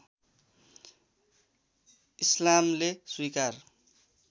इस्लामले स्वीकार